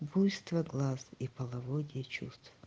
буйство глаз и половодье чувств